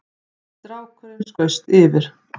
Strákurinn skaust yfir